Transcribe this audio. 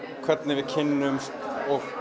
hvernig við kynnumst og